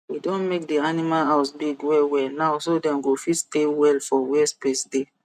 we don make the animal house big wellwell now so dem go fit stay well for where space dey